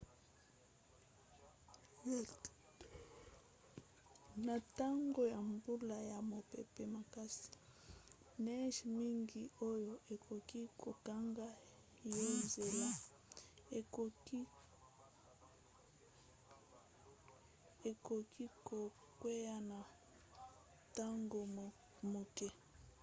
na ntango ya mbula ya mopepe makasi neige mingi oyo ekoki kokanga yo nzela ekoki kokwea na ntango moke